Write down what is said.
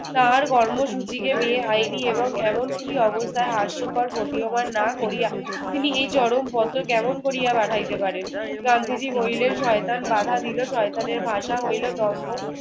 তাহার কর্মসূচিকে বেআইনি এবং এমনকি অবস্থায় হাস্যকর প্রতীয়মান না করিয়া তিনি এই চরমপত্র কেমন করিয়া পাঠাইতে পারেন? গান্ধীজি বলিলেন, শয়তান বাধা দিল। শয়তানের ভাষা হইল দম্ভ।